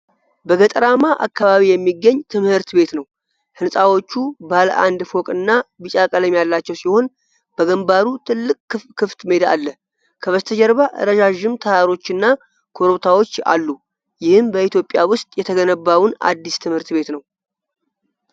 በገጠራማ አካባቢ የሚገኝ ትምህርት ቤት ነው ። ሕንፃዎቹ ባለ አንድ ፎቅና ቢጫ ቀለም ያላቸው ሲሆን፣ በግንባሩ ትልቅ ክፍት ሜዳ አለው። ከበስተጀርባ ረዣዥም ተራሮችና ኮረብታዎች አሉ። ይህም በኢትዮጵያ ውስጥ የተገነባውን አዲስ ትምህርት ቤት ነው።